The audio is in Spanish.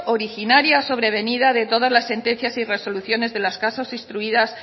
originaria sobrevenida de todas las sentencias y resoluciones de los casos instruidas